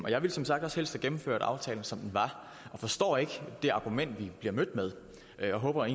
jeg ville som sagt også helst have gennemført aftalen som den var og forstår ikke det argument vi bliver mødt med og jeg håber